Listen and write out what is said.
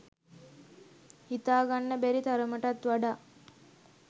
හිතා ගන්න බැරි තරමටත් වඩා